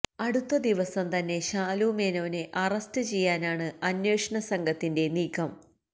അടുത്ത ദിവസം തന്നെ ശാലുമേനോനെ അറസ്റ്റ് ചെയ്യാനാണ് അന്വേഷണ സംഘത്തിന്െറ നീക്കം